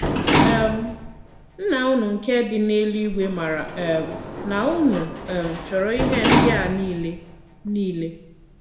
um Nnà unu nke dị n’èlùígwè màrà um nà unu um chọrọ̀ ihé ndị̀ a niile. niile.